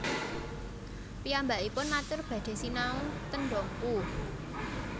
Piyambakipun matur badhe sinau ten Dompu